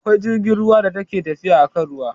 Akwai jirgin ruwa da ke tafiya akan ruwa